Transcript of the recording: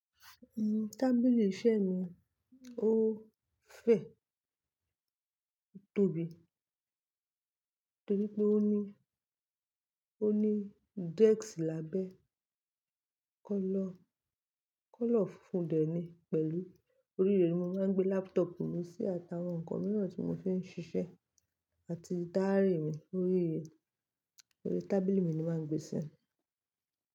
Uhm, tábìlì iṣẹ́ mi ó fẹ̀, tobí, torí pé ó ní, ó ní desk lábẹ́. Colour, colour funfun dẹ̀ ni pẹ̀lú orí rẹ̀ ni mo máa ń gbé laptop mi sí àti awọn ǹkan mìíràn tí mo fi ń ṣiṣẹ́ àti diary mi orí i, orí tábìlì mi ni màá ń gbé sí.